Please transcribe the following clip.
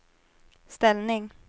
ställning